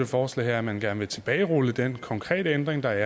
forslag er at man gerne ville tilbagerulle den konkrete ændring der